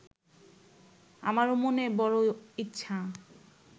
আমারও মনে বড় ইচ্ছা